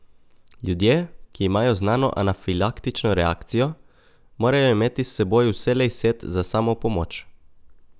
Ljudje, ki imajo znano anafilaktično reakcijo, morajo imeti s seboj vselej set za samopomoč.